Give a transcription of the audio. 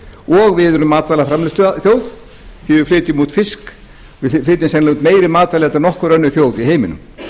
og við erum matvælaframleiðsluþjóð því við flytjum út fisk við flytjum sennilega út meiri matvæli heldur en nokkur önnur þjóð í heiminum